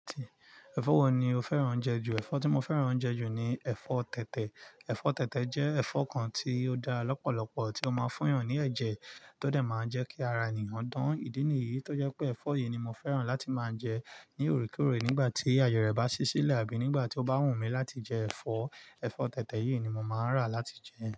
Ẹ̀fọ́ wo ni o fẹ́ràn jẹ ju? Ẹ̀fọ́ tí mo fẹ́ràn jẹ ju ni ẹ̀fọ́ tẹ̀tẹ̀. Ẹ̀fọ́ tẹ̀tẹ̀ jẹ́ ẹ̀fọ́ kan tí ó dá lọ́pọ̀lọpọ̀ tí ó máa ń fún èèyàn ní ẹ̀jẹ̀, tó de máa ń jẹ́ kí ara ènìyàn dán. Ìdí nìyí tó jẹ́ pé ẹ̀fọ́ yìí ni mo fẹ́ràn láti máa jẹ ní òrekore nígbà tí àyè rẹ̀ bá ṣí sílẹ̀ àbí nígbà tí ó bá wù mí láti jẹ ẹ̀fọ́, ẹ̀fọ́ tẹ̀tẹ̀ yìí ni mo máa n rà láti jẹ.